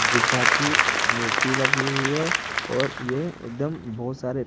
कुत्ता की मूर्ति लगी हुई है और यह एकदम बहुत सारे--